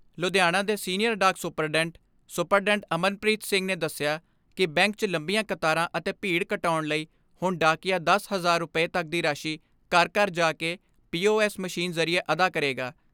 ਲੁਧਿਆਣਾ ਦੇ ਸੀਨੀਅਰ ਡਾਕ superintendent superintendent Amanpreet Singh ਨੇ ਦਸਿਆ ਕਿ ਬੈਂਕ 'ਚ ਲੰਬੀਆਂ ਕਤਾਰਾਂ ਅਤੇ ਭੀੜ ਘਟਾਉਣ ਲਈ ਹੁਣ ਡਾਕੀਆਂ ਦਸ ਹਜ਼ਾਰ ਰੁਪੈ ਤੱਕ ਦੀ ਰਾਸ਼ੀ ਘਰ ਘਰ ਜਾ ਕੇ ਪੀ ਓ ਐਸ ਮਸ਼ੀਨ ਜ਼ਰੀਏ ਅਦਾ ਕਰੇਗਾ।